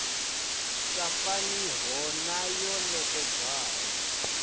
sa faniho na yo nekedzwaho